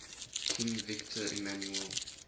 king victor emmanuel